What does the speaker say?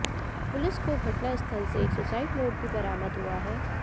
police को घटना स्थल से एक सुसाइड नोट भी बरामद हुआ है